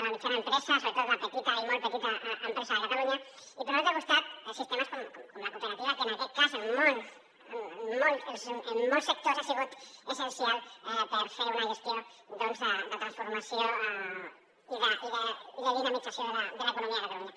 la mitjana empresa sobretot la petita i molt petita empresa de catalunya i per un altre costat sistemes com la cooperativa que en aquest cas en molts sectors ha sigut essencial per fer una gestió de transformació i de dinamització de l’economia de catalunya